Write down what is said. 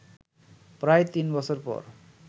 প্রায় তিন বছর পর